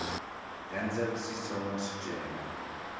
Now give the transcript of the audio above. ya ndzavisiso wa swicelwa leyi